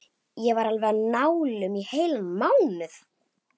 Ég var alveg á nálum í heilan mánuð.